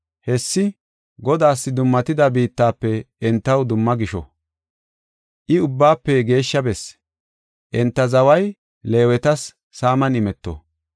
Hessi Godaas dummatida biittafe entaw dumma gisho; I Ubbaafe geeshsha Bessi. Enta zaway Leewetas saaman imeto.